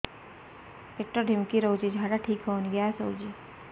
ପେଟ ଢିମିକି ରହୁଛି ଝାଡା ଠିକ୍ ହଉନି ଗ୍ୟାସ ହଉଚି